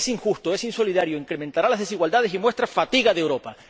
Es injusto, es insolidario, incrementará las desigualdades y muestra fatiga de Europa.